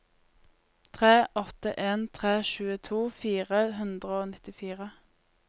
tre åtte en tre tjueto fire hundre og nittifire